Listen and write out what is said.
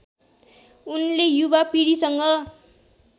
उनले युवा पीढीसँग